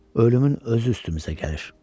Ölümün özü üstümüzə gəlir.